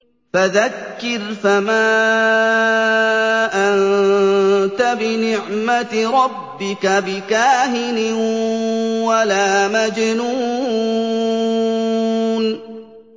فَذَكِّرْ فَمَا أَنتَ بِنِعْمَتِ رَبِّكَ بِكَاهِنٍ وَلَا مَجْنُونٍ